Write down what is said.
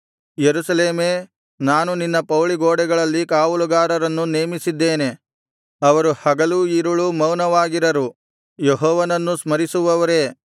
ಯೆರೂಸಲೇಮೇ ನಾನು ನಿನ್ನ ಪೌಳಿಗೋಡೆಗಳಲ್ಲಿ ಕಾವಲುಗಾರರನ್ನು ನೇಮಿಸಿದ್ದೇನೆ ಅವರು ಹಗಲೂ ಇರುಳೂ ಮೌನವಾಗಿರರು ಯೆಹೋವನನ್ನು ಸ್ಮರಿಸುವವರೇ